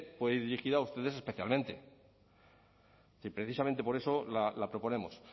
puede ir dirigida a ustedes especialmente precisamente por eso la proponemos